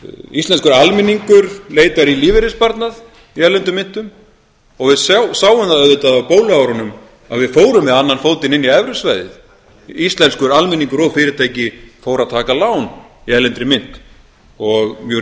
íslenskur almenningur leitar í lífeyrissparnað í erlendum myntum og við sjáum það auðvitað á bóluárunum að við fórum með annan fótinn inn í evrusvæðið íslenskur almenningur og fyrirtæki fóru að taka lán í erlendri mynt og mjög